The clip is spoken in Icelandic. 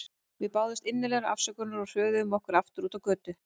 Við báðumst innilegrar afsökunar og hröðuðum okkur aftur út á götu.